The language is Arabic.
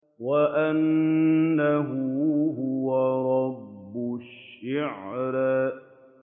وَأَنَّهُ هُوَ رَبُّ الشِّعْرَىٰ